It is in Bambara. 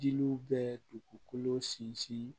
Jiriw bɛ dugukolo sinsin